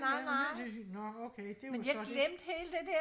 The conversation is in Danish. nå okay det var så det